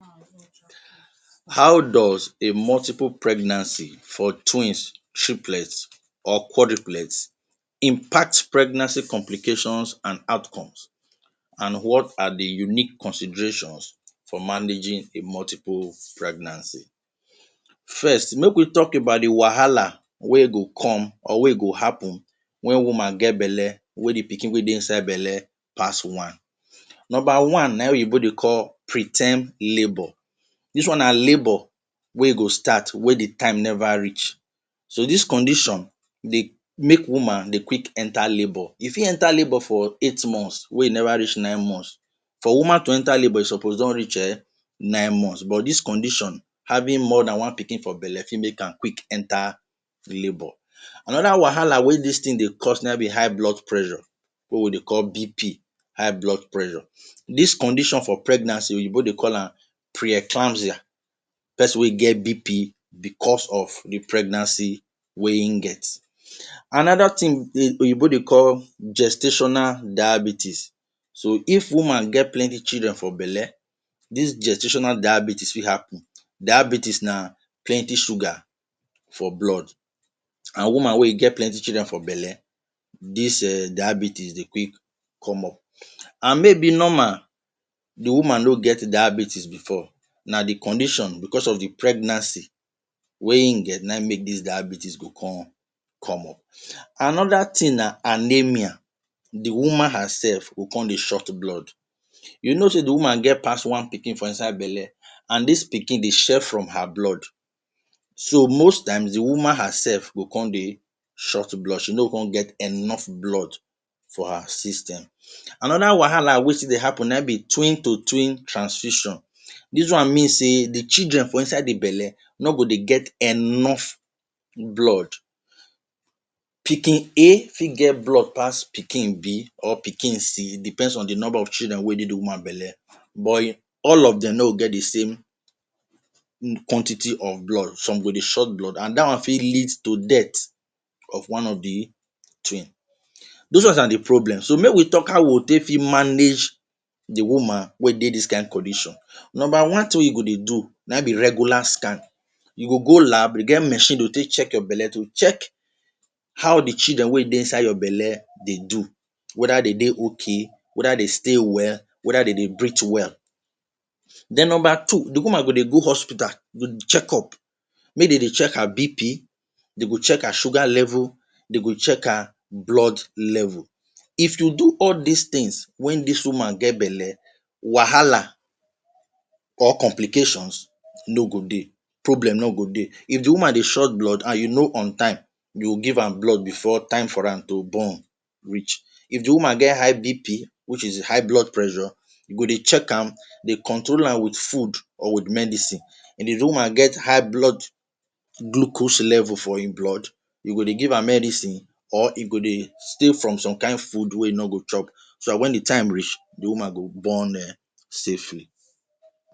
How does a multiple pregnancy for twins, triplet or quadriplegic impact pregnancy complications an outcomes? An what are the unique considerations for managing a multiple pregnancy? First, make we talk about the wahala wey go come or wey go happen wen woman get belle wey the pikin wey dey inside belle pass one. Nomba one na ein oyinbo dey call pre ten d labour. Dis one na labour wey go start wen the time never reach. So, dis condition dey make woman dey quick enter labour. E fit enter labour for eight months wey never reach nine months. For woman to enter labour, e suppose don reach eh nine months but dis condition—having more than one pikin for belle— fit make am quick enter labour. Another wahala wey dis tin dey cause na ein be high blood pressure wey we dey call BP. High blood pressure. Dis condition for pregnancy oyinbo dey call am pre-eclampsia—peson wey get BP becos of the pregnancy wey ein get. Another tin oyinbo dey call gestational diabetes. So, if woman get plenty children for belle, dis gestational diabetes fit happen. Diabetes na plenty sugar for blood, an woman wey get plenty children for belle, dis um diabetes dey quick come up. An maybe normal, the woman no get diabetes before, na the condition—becos of the pregnancy wey ein get— na ein make dis diabetes go come come up. Another tin na anaemia—the woman hersef go con dey short blood. You know sey the woman get pass one pikin for inside belle, an dis pikin dey share from her blood. So, most times, the woman hersef go con dey short blood, she no go con get enough blood for her system. Another wahala wey still dey happen na ein be twin to twin transition. Dis one mean sey the children for inside the belle no go dey get enough blood. Pikin A fit get blood pass pikin B or pikin C, depends on the nomba of children wey dey the woman belle. all of dem no go get the same quantity of blood. Some go dey short blood, an dat one fit lead to death of one of the twin. Dos ones are the problems. So, make we talk how we take fit manage the woman wey dey dis kain condition. Nomba one tin wey you go dey do na ein be regular scan. You go go lab, de get machine dey go take check your belle to check how the children wey dey inside your belle dey do—whether de dey okay, whether de stay well, whether de dey breathe well. Then nomba two, the woman go dey go hospital go check up, make de dey check her BP, de go check her sugar level, de go check her blood level. If you do all dis tins wen dis woman get belle, wahala or complications no go dey. Problem no go dey. If the woman dey short blood an you know on time, you will give am blood before time for am to born reach. If the woman get high BP which is High Blood Pressure, you go dey check am, dey control am with food or with medicine. If the woman get high blood glucose level for ein blood, you go dey give am medicine or you go dey from some kain food wey e no go chop so dat wen the time reach, the woman go born um safely.